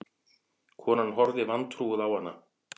Konan horfði vantrúuð á hana.